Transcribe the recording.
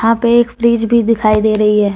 यहां पे एक फ्रिज भी दिखाई दे रही है।